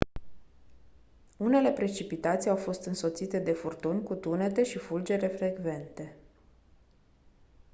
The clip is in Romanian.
unele precipitații au fost însoțite de furtuni cu tunete și fulgere frecvente